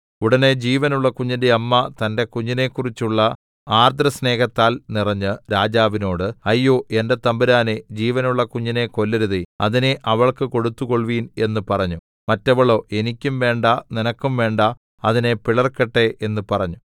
ഉടനെ ജീവനുള്ള കുഞ്ഞിന്റെ അമ്മ തന്റെ കുഞ്ഞിനെക്കുറിച്ചുള്ള ആർദ്രസ്നേഹത്താൽ നിറഞ്ഞ് രാജാവിനോട് അയ്യോ എന്റെ തമ്പുരാനേ ജീവനുള്ള കുഞ്ഞിനെ കൊല്ലരുതേ അതിനെ അവൾക്ക് കൊടുത്തുകൊൾവിൻ എന്ന് പറഞ്ഞു മറ്റേവളോ എനിക്കും വേണ്ടാ നിനക്കും വേണ്ടാ അതിനെ പിളർക്കട്ടെ എന്ന് പറഞ്ഞു